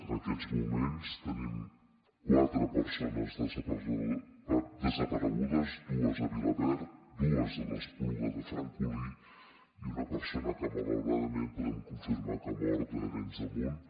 en aquests moments tenim quatre persones desaparegudes dues a vilaverd dues a l’espluga de francolí i una persona que malauradament podem confirmar que ha mort a arenys de munt